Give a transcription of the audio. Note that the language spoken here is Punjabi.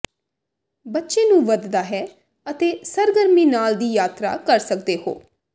ਬੱਚੇ ਨੂੰ ਵਧਦਾ ਹੈ ਅਤੇ ਸਰਗਰਮੀ ਨਾਲ ਦੀ ਯਾਤਰਾ ਕਰ ਸਕਦੇ ਹੋ